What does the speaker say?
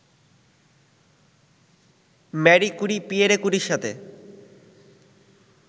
মারি Curie, Pierre কুরির সাথে